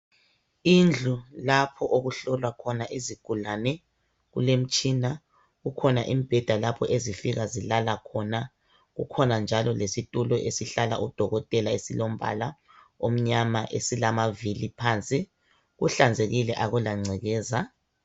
Indlu lapho okuhlolwa khona izigulane, kulemtshina kukhona imbheda lapho ezifika zilala khona, kukhona njalo lesitulo esihlala udokotela esilombala omnyama esilamavili phansi, kuhlanzekile akula ngcekeza.